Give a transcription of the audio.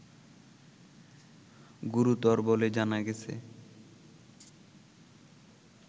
গুরুতর বলে জানা গেছে